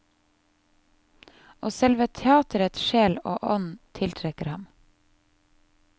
Og selve teatrets sjel og ånd tiltrekker ham.